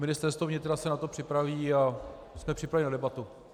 Ministerstvo vnitra se na to připraví a jsme připraveni na debatu.